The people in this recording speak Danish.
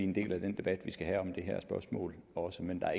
en del af den debat vi skal have om det her spørgsmål også men der er